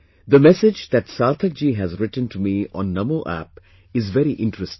The message that Sarthak ji has written to me on Namo App is very interesting